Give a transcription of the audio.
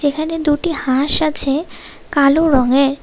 এখানে দুটি হাঁস আছে কালো রঙের।